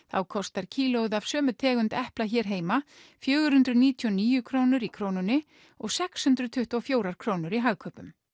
þá kostar kílóið af sömu tegund epla hér heima fjögur hundruð níutíu og níu krónur í Krónunni og sex hundruð tuttugu og fjórar krónur í Hagkaupum